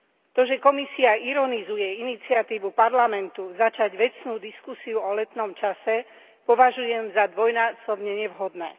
To, že Komisia ironizuje iniciatívu Parlamentu začať vecnú diskusiu o letnom čase, považujem za dvojnásobne nevhodné.